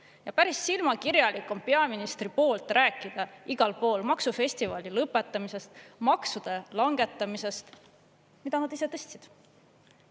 Ja päris silmakirjalik on peaministri poolt rääkida igalpool maksufestivali lõpetamisest, maksude langetamisest, mida nad ise tõstsid.